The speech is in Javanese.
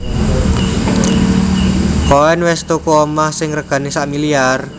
Koen wes tuku omah sing regane sakmiliar?